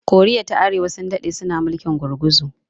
koriya ta arewa sun daɗe suna mulkin gurguzu